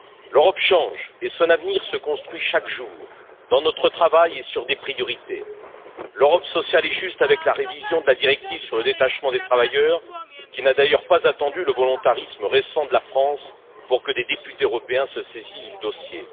L'Europe change et son avenir se construit chaque jour, dans notre travail et sur des priorités l'Europe sociale et juste, avec la révision de la directive sur le détachement des travailleurs, qui n'a d'ailleurs pas attendu le volontarisme récent de la France pour que des députés européens se saisissent du dossier